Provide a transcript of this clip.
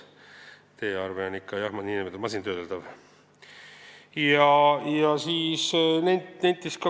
E-arve on ikka masintöödeldav.